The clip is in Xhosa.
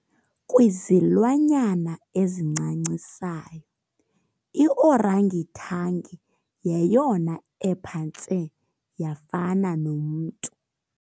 Kwizilwanyana ezincancisayo i-orangitangi yeyona ephantse yafana nomntu.